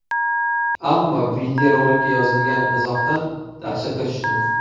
Ammo videorolikka yozilgan izohdan dahshatga tushdim.